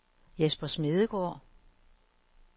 Jesper Smedegaard